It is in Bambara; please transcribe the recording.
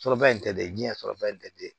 Sɔrɔba in tɛ dɛ jiɲɛ sɔrɔba in tɛ